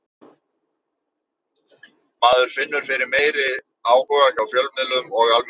Maður finnur fyrir meiri áhuga hjá fjölmiðlum og almenningi.